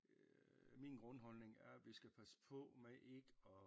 Min grundholdning er at vi skal passe på med ikke og